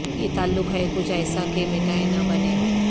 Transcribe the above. یہ تعلق ہے کچھ ایسا کہ مٹائے نہ بنے